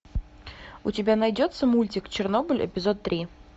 у тебя найдется мультик чернобыль эпизод три